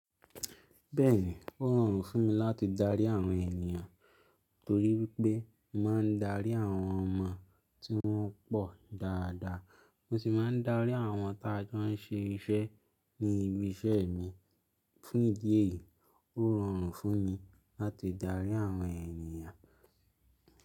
Bẹ́ẹ̀ni, ó rọrùn fún mi láti darí àwọn ènìyàn torí pé mo máa ń darí àwọn ọmọ tí wọ́n pọ̀ dáadáa, mo sì máa ń darí àwọn tájọ́ ń ṣe iṣẹ́ ní ibi iṣẹ́ mi. Fún ìdí èyí, ó rọrùn fún mi láti darí àwọn ènìyàn.